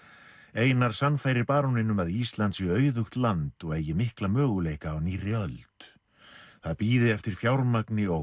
einar sannfærir baróninn um að Ísland sé auðugt land og eigi mikla möguleika á nýrri öld það bíði eftir fjármagni og